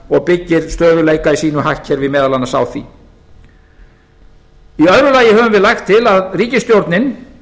og byggir stöðugleika í sínu hagkerfi meðal annars á því í öðru lagi höfum við lagt til að ríkisstjórnin